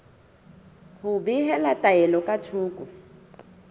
ho behela taelo ka thoko